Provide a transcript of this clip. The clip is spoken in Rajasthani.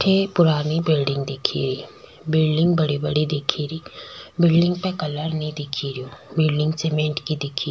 अठे पुराणी बिलडिंग दिख री बिलडिंग बड़ी बड़ी दिख री बिलडिंग कलर न दिख रियो बिलडिंग सीमेंट की दिख री।